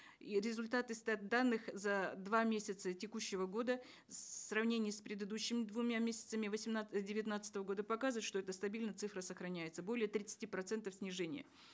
и результаты стат данных за два месяца текущего года в сравнении с предыдущими двумя месяцами девятнадцатого года показывают что эта стабильно цифра сохраняется более тридцати процентов снижения